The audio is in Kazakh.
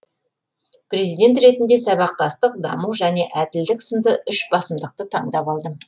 президент ретінде сабақтастық даму және әділдік сынды үш басымдықты таңдап алдым